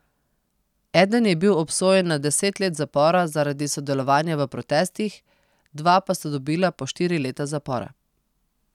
Eden je bil obsojen na deset let zapora zaradi sodelovanja v protestih, dva pa sta dobila po štiri leta zapora.